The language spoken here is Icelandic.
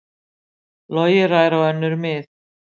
Logi rær á önnur mið